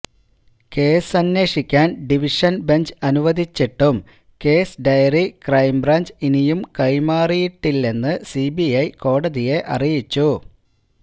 case അന്വേഷിക്കാന് division bench അനുവദിച്ചിട്ടും case diary crime branch ഇനിയും കൈമാറിയിട്ടില്ലന്ന് സിബിഐ കോടതിയെ അറിയിച്ചു